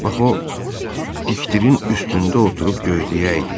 Bax o diktirin üstündə oturub gözləyəydi.